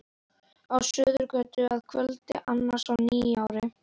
Á Suðurgötu að kvöldi annars í nýári.